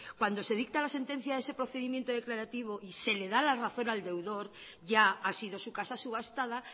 cuando se dicta la sentencia de ese procedimiento declarativo y se le da la razón al deudor ya ha sido su casa subastada